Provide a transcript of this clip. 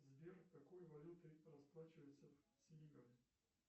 сбер какой валютой расплачиваются в сенегале